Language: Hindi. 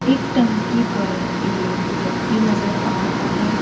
एक टंकी पर एक व्यक्ति नजर आ रहा है।